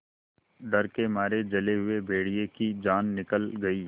डर के मारे जले हुए भेड़िए की जान निकल गई